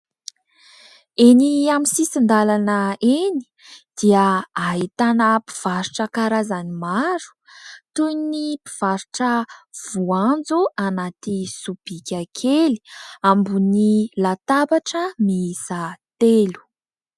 Eny amin'ny sisin-dalana eny dia ahitana mpivarotra karazany maro, toy ny mpivarotra voanjo anaty sobika kely ambony latabatra miisa telo.